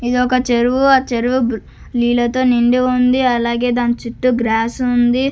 ఇది ఒక చెరువు ఆ చెరువు నీళ్ల తో నిండి ఉంది అలాగే దాని చుట్టూ గ్రాస్ ఉంది.